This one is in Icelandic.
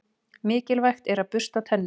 Mikilvægt er að bursta tennur.